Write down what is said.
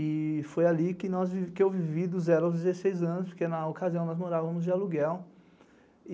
E foi ali que eu vivi dos zero aos dezesseis anos, porque na ocasião nós morávamos de aluguel.